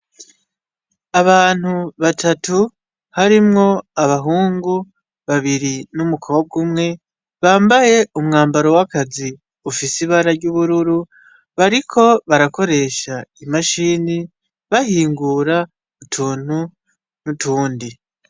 Abantu batatu harimwo abahungu babiri n'umukobwa umwe , bambaye umwambaro w'akazi ufise ibara ry'ubururu, bariko barakoresha imashini , bahingura utuntu n'utundi.